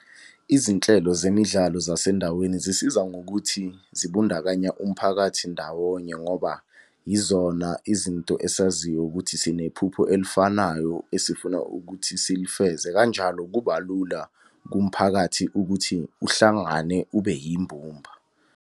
Izinhlelo zemidlalo zasendaweni zisiza ngokuthi zibundakanya umphakathi ndawonye ngoba yizona izinto esaziyo ukuthi sinephupho elifanayo esifuna ukuthi silifeze, kanjalo kuba lula kumphakathi ukuthi uhlangane ube yimbumba.